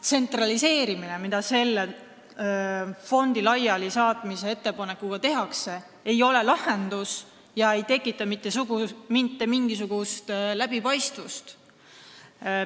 Tsentraliseerimine, mida selle fondi laialisaatmise ettepanekuga tehakse, ei ole lahendus, see ei tekita mitte mingisugust läbipaistvust.